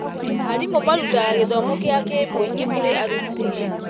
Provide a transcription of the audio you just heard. Arimũ marutaga gĩthomo gĩa kĩmũingĩ kũrĩ arutwo.